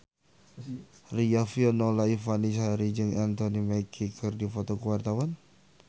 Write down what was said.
Riafinola Ifani Sari jeung Anthony Mackie keur dipoto ku wartawan